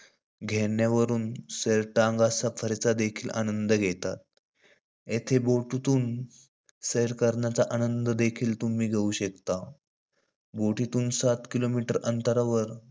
घेण्यावरून, सैर, टांगा सफारीचा देखील आनंद घेतात. येथे बोटीतून, सैर करण्याचा आनंद देखील तुम्ही घेउ शकता. बोटीतुन सात kilometer अंतरावर,